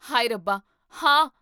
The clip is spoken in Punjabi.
ਹਾਏ ਰੱਬਾ, ਹਾਂ!